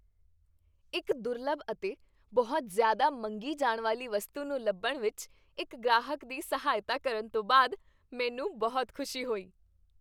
ਇੱਕ ਦੁਰਲੱਭ ਅਤੇ ਬਹੁਤ ਜ਼ਿਆਦਾ ਮੰਗੀ ਜਾਣ ਵਾਲੀ ਵਸਤੂ ਨੂੰ ਲੱਭਣ ਵਿੱਚ ਇੱਕ ਗ੍ਰਾਹਕ ਦੀ ਸਹਾਇਤਾ ਕਰਨ ਤੋਂ ਬਾਅਦ, ਮੈਂਨੂੰ ਬਹੁਤ ਖੁਸ਼ੀ ਹੋਈ